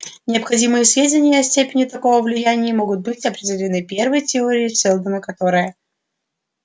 необходимые сведения о степени такого влияния могут быть определены первой теоремой сэлдона которая